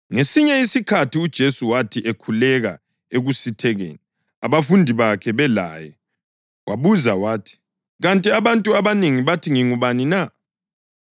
Ngesinye isikhathi uJesu wathi ekhuleka ekusithekeni, abafundi bakhe belaye, wabuza wathi, “Kanti abantu abanengi bathi ngingubani na?”